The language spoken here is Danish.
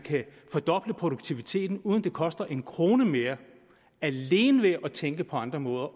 fordoble produktiviteten uden at det koster en krone mere alene ved at tænke på andre måder